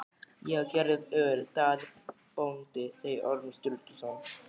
Ég á gerjað öl, Daði bóndi, sagði Ormur Sturluson.